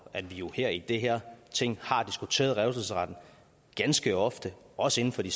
at vi her i det her ting har diskuteret revselsesretten ganske ofte også inden for de